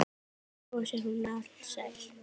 Svo brosir hún alsæl.